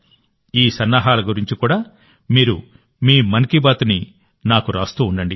ఈ సన్నాహాల గురించి కూడా మీరు మీ మన్ కీ బాత్ని నాకు రాస్తూ ఉండండి